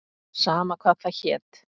Sama hvað það hét.